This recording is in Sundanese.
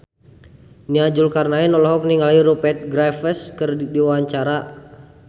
Nia Zulkarnaen olohok ningali Rupert Graves keur diwawancara